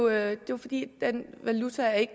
er jo fordi den valuta